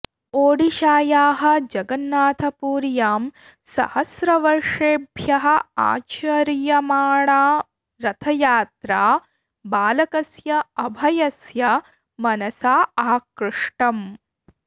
ओडिशायाः जगन्नाथपुर्यां सहस्रवर्षेभ्यः आचर्यमाणा रथयात्रा बालकस्य अभयस्य मनसा आकृष्टम्